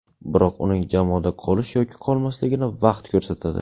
Biroq uning jamoada qolish yoki qolmasligini vaqt ko‘rsatadi.